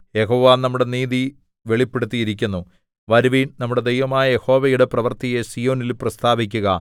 യഹോവ നമ്മുടെ നീതി വെളിപ്പെടുത്തിയിരിക്കുന്നു വരുവിൻ നമ്മുടെ ദൈവമായ യഹോവയുടെ പ്രവൃത്തിയെ സീയോനിൽ പ്രസ്താവിക്കുക